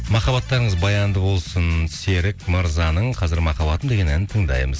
махаббаттарыңыз баянды болсын серік мырзаның қазір махаббатым деген әнін тыңдаймыз